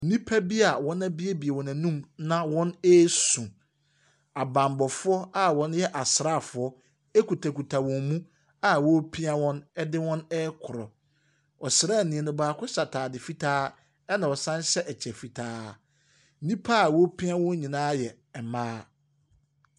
Nnipa bi a wɔabuebue wɔn anum na wɔresu. Abammɔfo a wɔyɛ asraafo kitakita wɔn mu a wɔrepia wɔn de wɔn ɛrekɔ. Ɔsraani no baako hyɛ ataade fitaa na ɔsan hyɛ kyɛ fitaa. Nnipa a wɔfrepia wɔn nyinaa yɛ mmaa.